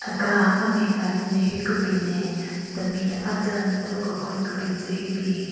Aka amen ka n-nyu ne hyu kebin ne temi aden thyü-o kekwen kebin tsü hyu bin.